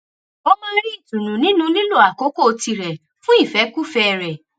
ó máa ń rí ìtùnú nínú lílo àkókò tirè fún ìfékúfèé rè